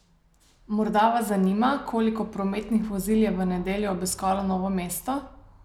Morda vas zanima, koliko prometnih vozil je v nedeljo obiskalo Novo mesto?